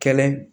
Kɛlɛ